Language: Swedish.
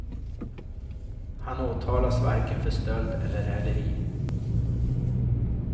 Han åtalas varken för stöld eller häleri.